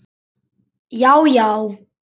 Já já.